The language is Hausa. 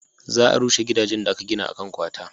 za a rushe gidajen da aka gina a kan kwata